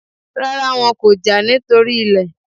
Rárá, wọn kò jà nítorí ilẹ̀